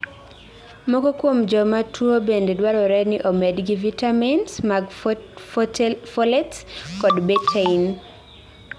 moko kuom jomaa tuo bende dwarore ni omedgi vitamis mag folates kod betaine